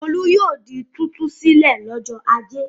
Olú yóò di títú sílẹ̀ lọ́jọ́ ajé.